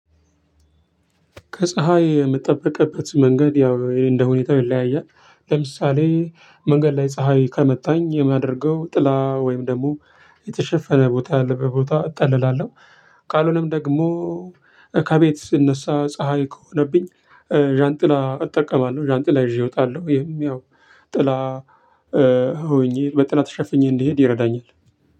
ከፀሀይ የምትጠብቅበት መንገድ ያው እንደሁኔታው ይለያያል። ለምሳሌ መንገድ ላይ ፀሀይ ከመታኝ የማደርገው ጥላ ወይም ደግሞ የተሸፈነ ቦታ ያለበት ቦታ እጠልላለሁ። ቃሉንም ደግሞ ከቤት ስነሳ ፀሀይ ከሆነብኝ ዣንጥላ እጠቀማለሁ። ዣንጥላ ይዤ ወጣለሁ። ይሄም ያው ጥላ ሆኜ በጥላ ተሸፍኜ እንድሄድ ይረዳኛል።